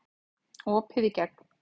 Opið í gegn